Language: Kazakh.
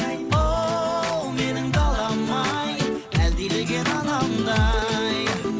оу менің далам ай әлдилеген анамдай